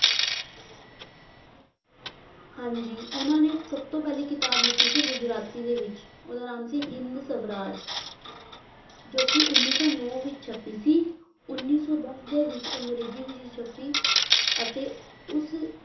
ਹਾਂਜੀ ਉਹਨਾਂ ਨੇ ਸਭ ਤੋਂ ਪਹਿਲੀ ਕਿਤਾਬ ਲਿਖੀ ਸੀ ਗੁਜਰਾਤੀ ਦੇ ਵਿੱਚ ਉਹਦਾ ਨਾਮ ਸੀ ਹਿੰਦ ਸਵਰਾਜ ਜੋ ਕਿ ਉੱਨੀ ਸੌ ਨੋਂ ਵਿੱਚ ਛਪੀ ਸੀ, ਉੱਨੀ ਸੌ ਦਸ ਦੇ ਵਿੱਚ ਅੰਗਰੇਜ਼ੀ ਵਿੱਚ ਛਪੀ, ਅਤੇ ਉਸ